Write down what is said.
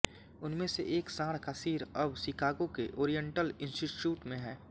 उनमें से एक सांड का सिर अब शिकागो के ओरिएंटल इंस्टिट्यूट में है